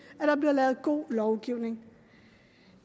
at der bliver lavet god lovgivning